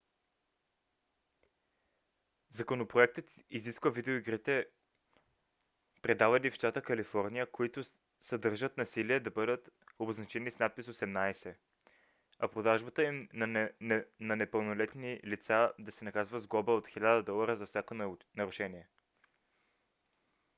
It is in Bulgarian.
законопроектът изисква видеоигрите продавани в щата калифорния които съдържат насилие да бъдат обозначени с надпис 18 а продажбата им на непълнолетни лица да се наказва с глоба от 1000 долара за всяко нарушение